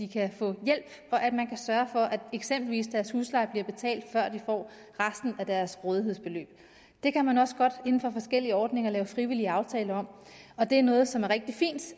kan få hjælp og at man kan sørge for at eksempelvis deres husleje bliver betalt før de får resten af deres rådighedsbeløb det kan man også godt inden for de forskellige ordninger lave frivillige aftaler om og det er noget som er rigtig fint